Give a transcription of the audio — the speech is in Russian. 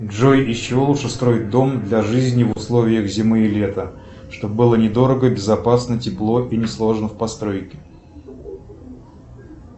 джой из чего лучше строить дом для жизни в условиях зимы и лета чтобы было недорого безопасно тепло и несложно в постройке